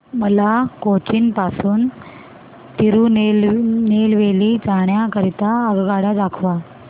मला कोचीन पासून तिरूनेलवेली जाण्या करीता आगगाड्या दाखवा